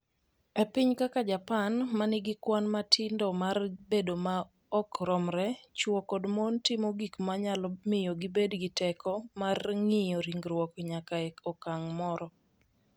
E pinje kaka Japan, ma nigi kwan matindo mar bedo ma ok romre, chwo kod mon timo gik ma nyalo miyo gibed gi teko mar ng’iyo ringruok nyaka e okang’ moro.